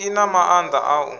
i na maanda a u